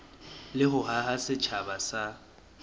le ho haha setjhaba sa